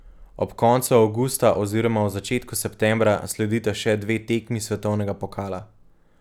Ob koncu avgusta oziroma v začetku septembra sledita še dve tekmi svetovnega pokala.